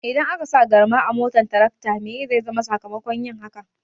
Idan akasa garma a motar tarakta meye zai zama sakamakon yin hakan?